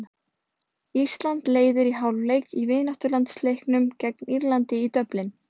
Ísland leiðir í hálfleik í vináttulandsleiknum gegn Írlandi í Dublin.